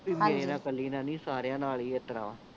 B ਹਾਂਜੀ ਮੇਰਾ ਇਕੱਲੀ ਦਾ ਨਹੀਂ ਸਾਰਿਆਂ ਨਾਲ ਹੀ ਇਸਤਰਾਂ ਵਾ